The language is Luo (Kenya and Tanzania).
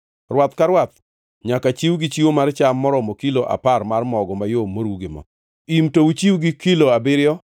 Rwath ka rwath nyaka chiw gi chiwo mar cham maromo kilo apar mar mogo mayom moru gi mo; im to uchiw gi kilo abiriyo;